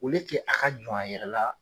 O le ke a ka jɔn a yɛrɛ la.